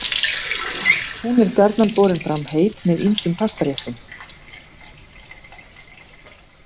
Hún er gjarnan borin fram heit með ýmsum pastaréttum.